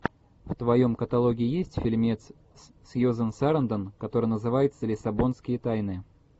в твоем каталоге есть фильмец с сьюзен сарандон который называется лиссабонские тайны